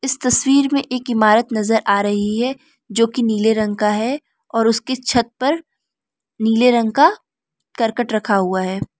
तस्वीर में एक इमारत नजर आ रही है जो की नीले रंग का है और उसकी छत पर नीले रंग का नीले करकट रखा हुआ है।